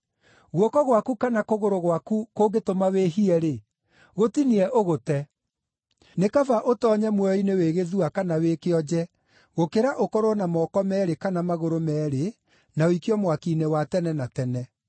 Guoko gwaku kana kũgũrũ gwaku kũngĩtũma wĩhie-rĩ, gũtinie ũgũte. Nĩ kaba ũtoonye muoyo-inĩ wĩ gĩthua kana wĩ kĩonje, gũkĩra ũkorwo na moko meerĩ kana magũrũ meerĩ na ũikio mwaki-inĩ wa tene na tene.